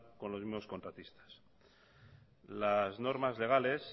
con los mismos contratistas las normas legales